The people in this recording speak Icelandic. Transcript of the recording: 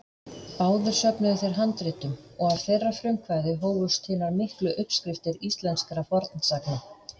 Báðir söfnuðu þeir handritum og af þeirra frumkvæði hófust hinar miklu uppskriftir íslenskra fornsagna.